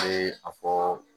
Ne a fɔɔ